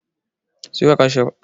Siyowa Kishiyar babata tuwo.